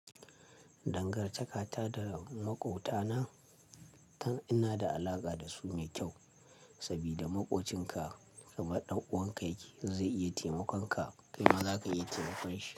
Dangantakata da maƙwabtana, in na da alaƙa da su mai kyau. Saboda maƙocin ka kamar ɗan uwan ka yake, zai iya taimakon ka, kai ma za ka iya taimakon shi.